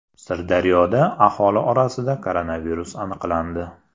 Sirdaryoda aholi orasida koronavirus aniqlandi.